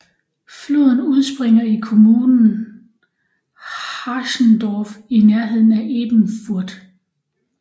Floden udspringer i kommunen Haschendorf i nærheden af Ebenfurth